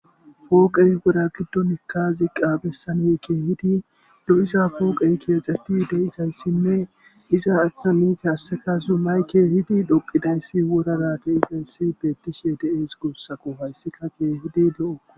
Pooqey wora giddon ziaqa bessani keedi lo7iza pooqen keexettidi fe7izaysanne iza achchan qasse zumay keehid dhoqqidaysi beettishe de7ees guussako hayssi keehippe lo7okko.